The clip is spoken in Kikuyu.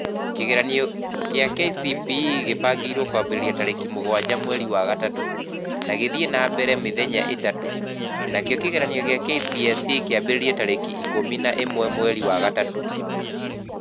Kĩgeranio kĩa KCPE kĩbangĩirwo kũambĩrĩria tarĩki mũgwanja mweri wa gatatũ na gĩthiĩ na mbere mĩthenya ĩthatũ, nakĩo kĩgeranio kĩa KCSE kĩambĩrĩria tarĩki ĩkũmi na ĩmwe mweri wa gatatũ